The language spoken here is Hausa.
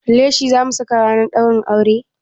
Leshi zamu saka ranar ɗaurin aure?